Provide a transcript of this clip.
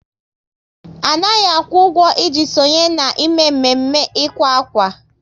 Anaghị akwụ ụgwọ, ị ji sonye na mme mme ịkwa akwa